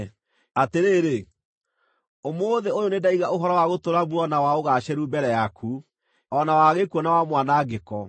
Atĩrĩrĩ, ũmũthĩ ũyũ nĩndaiga ũhoro wa gũtũũra muoyo na wa ũgaacĩru mbere yaku, o na wa gĩkuũ na wa mwanangĩko.